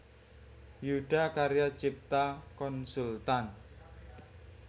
Yudha Karya Cipta Konsultan